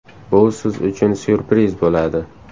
Bu siz uchun ‘syurpriz’ bo‘ladi”.